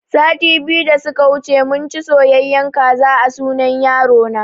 Sati biyu da suka wuce munci soyayen kaza a sunan yaro na